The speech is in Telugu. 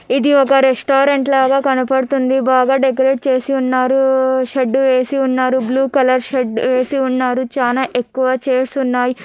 ఇది ఒక రెస్టారెంట్ లాగ కనపడుతుంది బాగా డెకరేట్ చేసి ఉన్నారు షెడ్డు వేసి ఉన్నారు బ్లూ కలర్ షెడ్ వేసి ఉన్నారు చానా ఎక్కువ చైర్స్ ఉన్నాయ్.